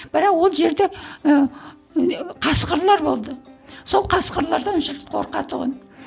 бірақ ол жерде ыыы қасқырлар болды сол қасқырлардан жұрт қорқа тұғын